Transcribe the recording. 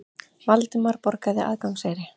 Valdimar borgaði aðgangseyri.